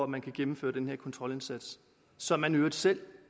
man kan gennemføre den her kontrolindsats som man i øvrigt selv